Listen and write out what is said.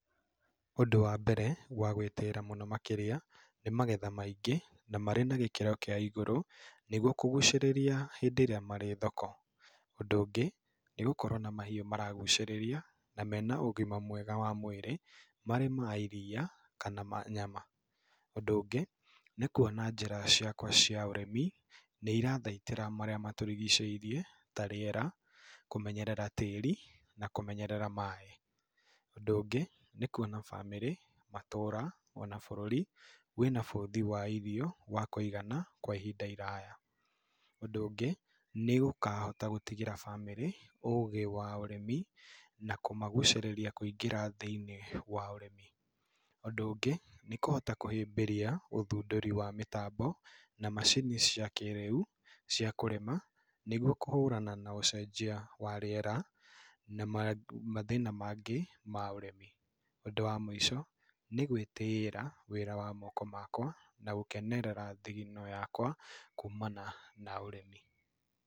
Ũndũ wa mbere wa gwĩtĩĩra mũno makĩria, nĩ magetha maingĩ, na marĩ na gĩkĩro kĩa igũrũ nĩgwo kũgucĩrĩria hĩndĩ ĩrĩa marĩ thoko. Ũndũ ũngĩ, nĩ gũkorwo na mahiũ maragucĩrĩria na mena ũgima mwega wa mwĩrĩ, marĩ ma iria kana ma nyama. Ũndũ ũngĩ, nĩ kuona njĩra ciakwa cia ũrĩmi nĩ irathaitĩra marĩa matũrigicĩirie ta rĩera, kũmenyerera tĩri na kũmenyerera maaĩ. Ũndũ ũngĩ, nĩ kwona bamĩrĩ, matũũra ona bũrũri wĩna bũthi wa irio wa kũigana kwa ihinda iraya. Ũndũ ũngĩ, nĩ gũkahota gũtigĩra bamĩrĩ ũgĩ wa ũrĩmi na kũmagucĩrĩria kwĩngĩra thĩiniĩ wa ũrĩmi. Ũndũ ũngĩ, nĩ kũhota kũhĩmbĩria ũthundũri wa mĩtambo na macini cia kĩĩrĩu cia kũrĩma nĩgwo kũhũrana na ũcenjia wa rĩera na mathĩna mangĩ ma ũrĩmi. Ũndũ wa mũico, nĩ gwitĩĩra wĩra wa moko makwa na gũkenerera thigino yakwa kumana na ũrĩmi.